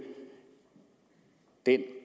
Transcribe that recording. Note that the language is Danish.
den